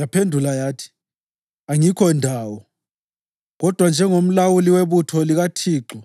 Yaphendula yathi “Angikho ndawo, kodwa njengomlawuli webutho likaThixo